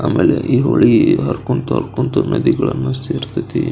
ಆಮೇಲೆ ಹೊಳಿ ಹರ್ಕೊಂತಾ ಹರ್ಕೊಂತಾ ನದಿಗಳನ್ನ ಸೇರತೈತಿ --